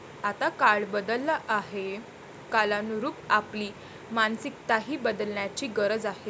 आता काळ बदलला आहे, कालानुरूप आपली मानसिकताही बदलण्याची गरज आहे.